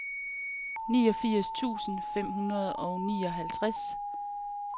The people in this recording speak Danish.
niogfirs tusind fem hundrede og nioghalvtreds